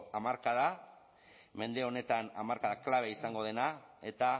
hamarkadan mende honetan hamarkada klabe izango dena eta